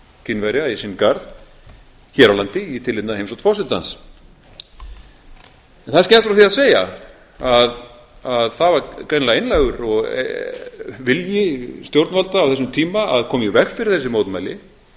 kínverja í sinn garð hér á landi í tilefni af heimsókn forsetans það er skemmst frá því að segja að það var greinilega einlægur vilji stjórnvalda á þessum tíma að koma í veg fyrir þessi mótmæli